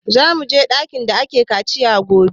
Za mu je ɗakin da ake kaciya gobe